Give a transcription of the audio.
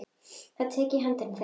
Ég tek í hendur þeirra.